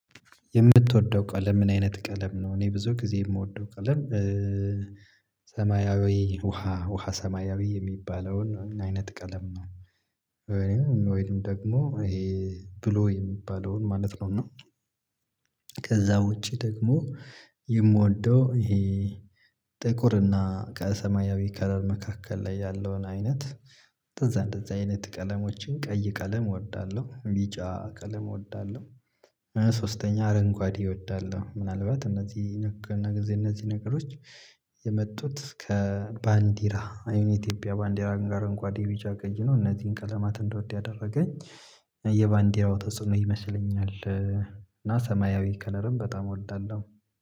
የምትወደው ቀለም ምን አይነት ቀለም ነው? እኔ ብዙ ጊዜ የምወደው ቀለም ሰማያዊ ውሃ ውሃ ሰማያዊ የሚባለውን አይነት ቀለም ነው። ወይንም ወይንም ደግሞ ይሄ ብሉ የሚባለውን ማለት ነው። እና ከዛ ውጪ ደግሞ የምወደው ይሄ ጥቁር እና ከሰማያዊ ከለር መካከል ላይ ያለውን አይነት። እንደዛ እንደዛ አይነት ቀለሞችን ቀይ ቀለም እወዳለሁ ቢጫ ቀለም እወዳለሁ። ሶስተኛ አረንጓዴ እወዳለሁ ምናልባት እነዚህ ነገር እነዚህ ነገሮች የመጡት ከባንዲራ አይምሮ ኢትዮጵያ ባንዲራን ጋር እንኳን ዲቪጃ ገኝቶ እነዚህን ቀለማት እንድወድ ያደረገኝ የባንዲራው ተጽዕኖ ይመስለኛል። እና ሰማያዊ ከለርም በጣም እወዳለሁ